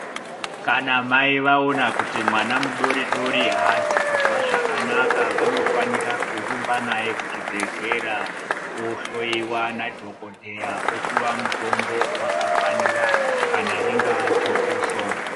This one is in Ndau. Kana mai vaona kuti mwana mudodori haasikunzwa zvakanaka. Vanofanira kurumba naye kuchibhedhlera ohloiwa nadhokodheya, opiwa pmutombo wakafanira kana ringava jokoso.